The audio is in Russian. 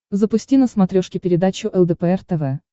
запусти на смотрешке передачу лдпр тв